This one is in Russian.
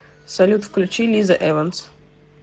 салют включи лиза эванс